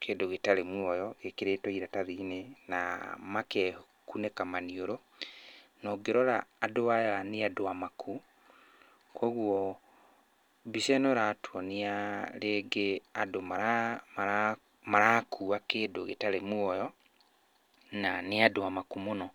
kĩndũ gĩtarĩ muoyo gĩkĩrĩtwo iratathi-inĩ, na makekunĩka maniũrũ. Na ũngĩrora andũ aya nĩ andũ amaku. Koguo mbica ĩno ĩratuonia rĩngĩ andũ marakua kĩndũ gĩtarĩ muoyo na nĩ andũ amaku mũno.